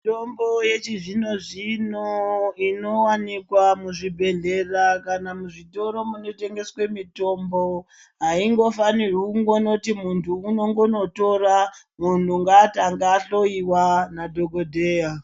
Mitombo yechi zvino inowanikwa mu zvibhedhlera kana mu zvitoro muno tengeswe mitombo haindo fanirwi kungonoti muntu unongono tora munhu ngaatange ahloyiwa na dhokodheya.